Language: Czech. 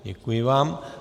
Děkuji vám.